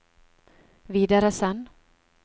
videresend